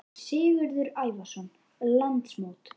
Sigurður Ævarsson: Landsmót?